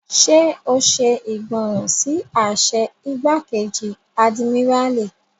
Ṣé o ṣe ìgbọràn sí àṣẹ igbákejì àdìmíràlí?